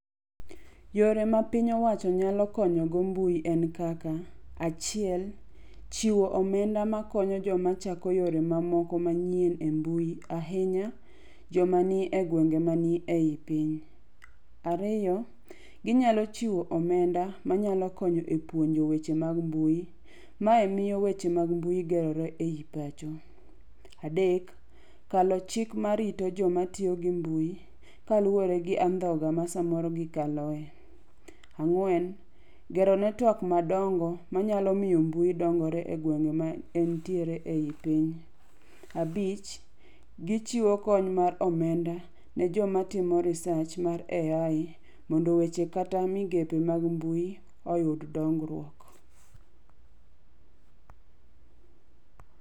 Yore ma piny owacho nyalo konyogo mbui en kaka, achiel chiwo omenda makonyo joma chako yore mamoko manyien e mbui ahinya joma ni egwenge man ei piny. Ariyo, ginyalo chiwo omenda manyalo konyo e puonjo e weche mag mbui. Mae miyo weche mag mbui gerore ei pacho. Kalo chik marito joma tiyo gi mbui kaluwore gi andhoga ma samoro gikaloe. Gero network madongo manyalo miyo mbui dongore egwenge maentiere ei piny. Abich gichiwo kony mar omenda ne joma timo research mar AI mondo weche kata migepe mag mbui oyud dongruok.